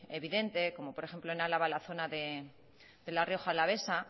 evidente por ejemplo en álava en la zona de la rioja alavesa